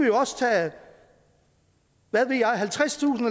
jo også tage hvad ved jeg halvtredstusind